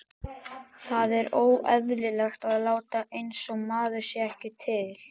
Það er óeðlilegt að láta einsog maður sé ekki til.